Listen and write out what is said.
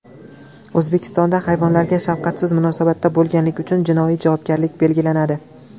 O‘zbekistonda hayvonlarga shafqatsiz munosabatda bo‘lganlik uchun jinoiy javobgarlik belgilanadi.